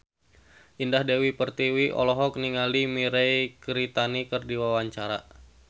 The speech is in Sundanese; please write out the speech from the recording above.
Indah Dewi Pertiwi olohok ningali Mirei Kiritani keur diwawancara